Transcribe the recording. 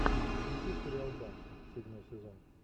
включи сериал банши седьмой сезон